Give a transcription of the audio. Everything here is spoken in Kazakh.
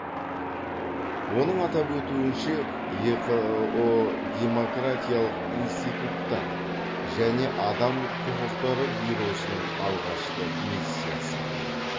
оның атап өтуінше еқыұ демократиялық институттар және адам құқықтары бюросының алғашқы миссиясы